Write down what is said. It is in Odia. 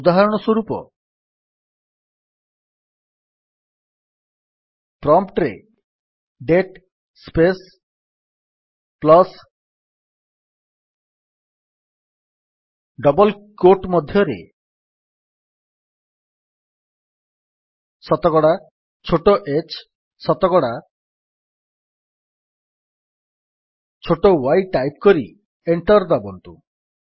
ଉଦାହରଣସ୍ୱରୂପ ପ୍ରମ୍ପ୍ଟ୍ ରେ ଡବଲ୍ କ୍ୟୋଟ୍ ମଧ୍ୟରେ ଡେଟ୍ ସ୍ପେସ୍ ପ୍ଲସ୍ ଶତକଡା ଛୋଟ h ଶତକଡା ଛୋଟ y ଟାଇପ୍ କରି ଏଣ୍ଟର୍ ଦାବନ୍ତୁ